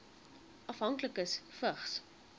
afhanklikes vigs